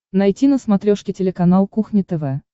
найти на смотрешке телеканал кухня тв